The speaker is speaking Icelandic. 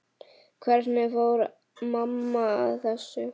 Hvernig fór mamma að þessu?